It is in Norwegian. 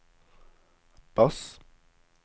bass